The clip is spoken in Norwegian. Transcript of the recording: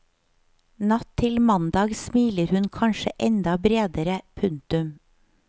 Natt til mandag smiler hun kanskje enda bredere. punktum